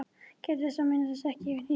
Gæta þess að missa það ekki yfir í hnýsni.